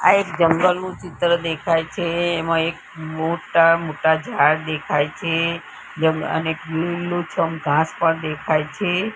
આ એક જંગલ નુ ચિત્ર દેખાય છે એમાં એક મોટ્ટા મોટ્ટા ઝાડ દેખાય છે અને લીલુછમ ઘાંસ પણ દેખાય છે.